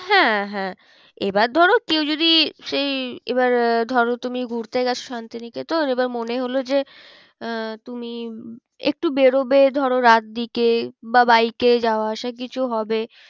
হ্যাঁ হ্যাঁ এবার ধরো কেউ যদি সেই এবার আহ ধরো তুমি ঘুরতে গেছো শান্তিনিকেতন এবার মনে হলো যে আহ তুমি একটু বেরোবে ধরো রাত দিকে বা বাইক এ যাওয়া আসা কিছু হবে